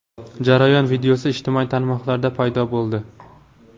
Jarayon videosi ijtimoiy tarmoqlarda paydo bo‘ldi.